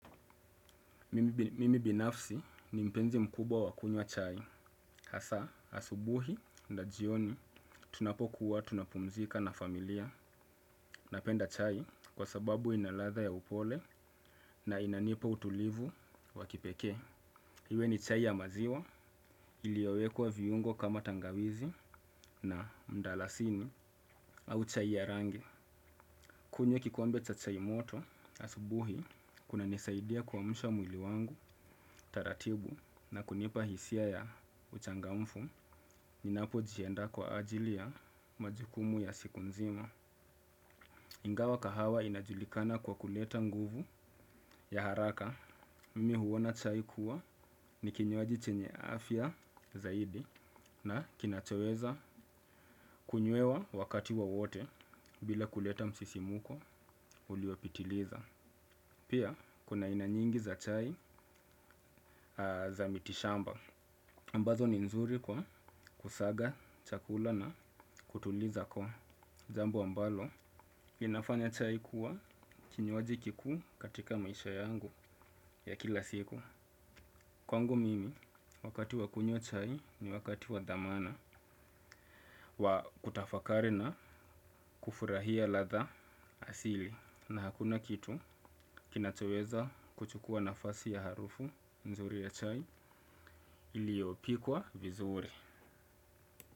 Mimi binafsi ni mpenzi mkubwa wa kunywa chai. Hasa, asubuhi na jioni tunapokuwa tunapumzika na familia napenda chai kwa sababu inaladha ya upole na inanipa utulivu wa kipeke. Iwe ni chai ya maziwa iliyowekwa viungo kama tangawizi na mdalasini au chai ya rangi. Kunywe kikombe cha chai moto, asubuhi kuna nisaidia kuamusha mwili wangu taratibu na kunipa hisia ya uchangamfu, ninapo jianda kwa ajili ya majukumu ya siku nzima. Ingawa kahawa inajulikana kwa kuleta nguvu ya haraka, mimi huona chai kuwa ni kinywaji chenye afya zaidi na kinachoweza kunywewa wakati wa wowote bila kuleta msisimuko uliopitiliza. Pia, kuna aina nyingi za chai za miti shamba. Ambazo ni nzuri kwa kusaga, chakula na kutuliza kwa. Jambo ambalo, inafanya chai kuwa kinywaji kiku katika maisha yangu ya kila siku. Kwangu mimi, wakati wakunywa chai ni wakati wadhamana wa kutafakari na kufurahia ladha asili. Na hakuna kitu kinachoweza kuchukua nafasi ya harufu nzuri ya chai iliopikwa vizuri.